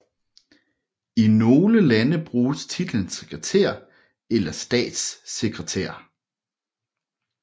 I nogle lande bruges titlen sekretær eller statssekretær